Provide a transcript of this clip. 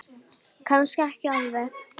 Kannski ekki alveg.